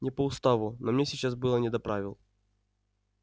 не по уставу но мне сейчас было не до правил